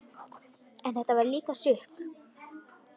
En þetta var líka sukk.